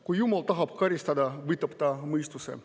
Kui jumal tahab karistada, võtab ta mõistuse.